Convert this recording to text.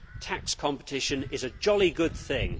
Tax competition is a jolly good thing.